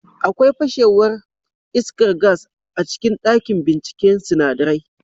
Akwai fashewar iskar gas a cikin dakin binciken sinadarai